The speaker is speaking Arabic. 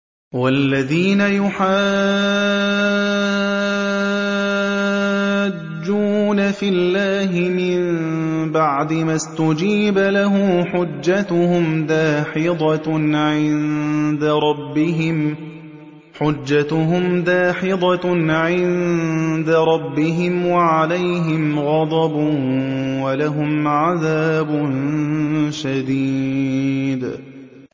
وَالَّذِينَ يُحَاجُّونَ فِي اللَّهِ مِن بَعْدِ مَا اسْتُجِيبَ لَهُ حُجَّتُهُمْ دَاحِضَةٌ عِندَ رَبِّهِمْ وَعَلَيْهِمْ غَضَبٌ وَلَهُمْ عَذَابٌ شَدِيدٌ